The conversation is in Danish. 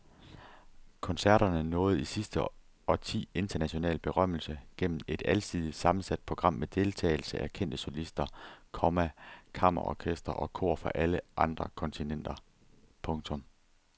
Koncerterne nåede i sidste årti international berømmelse gennem et alsidigt sammensat program med deltagelse af kendte solister, komma kammerorkestre og kor fra alle kontinenter. punktum